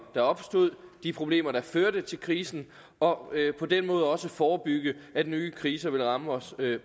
der opstod de problemer der førte til krisen og på den måde også forebygge at nye kriser ville ramme os